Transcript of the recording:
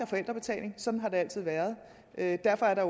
forældrebetaling sådan har det altid været været derfor er der